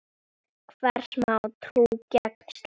Hvers má trú gegn slíku?